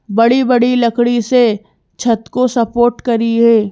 बड़ी-बड़ी लकड़ी से छत को सपोर्ट करी है।